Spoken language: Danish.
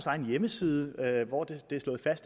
egen hjemmeside hvor det